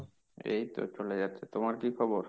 এই তো চলে যাচ্ছে। তোমার কি খবর?